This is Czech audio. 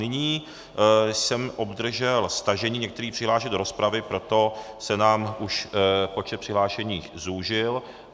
Nyní jsem obdržel stažení některých přihlášek do rozpravy, proto se nám už počet přihlášených zúžil.